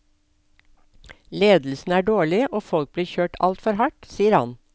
Ledelsen er dårlig, og folk blir kjørt altfor hardt, sier han.